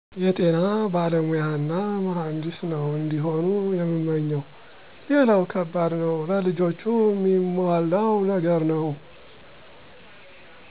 የጤና ባለሞያና መሀንዲስ ነው እንዲሆኑ የምመኘው፣ ሌላው ከባዱ ነገር ለልጆቹ ሚሟላው ነገር ነው።